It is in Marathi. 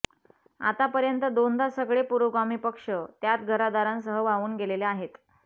आतापर्यंत दोनदा सगळे पुरोगामी पक्ष त्यात घरादारांसह वाहून गेलेले आहेत